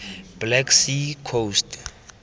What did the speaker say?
black sea coast